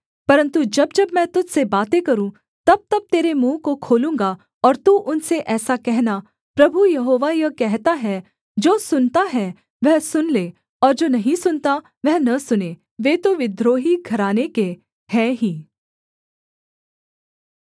परन्तु जब जब मैं तुझ से बातें करूँ तबतब तेरे मुँह को खोलूँगा और तू उनसे ऐसा कहना प्रभु यहोवा यह कहता है जो सुनता है वह सुन ले और जो नहीं सुनता वह न सुने वे तो विद्रोही घराने के हैं ही